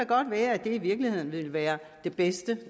godt være at det i virkeligheden ville være det bedste